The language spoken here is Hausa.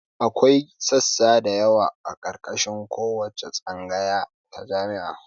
Akwai sassa dayawa a ƙarƙashin kowace tsangaya ta jami'a